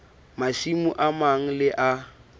masimo a mang le a